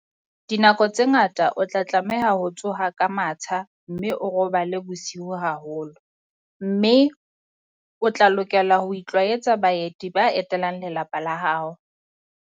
Dinako tse ngata o tla tlameha ho tsoha ka matsha mme o robale bosiu haholo, mme o tla lokela ho itlwaetsa baeti ba etelang lelapa la hao.